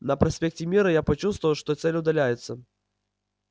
на проспекте мира я почувствовал что цель удаляется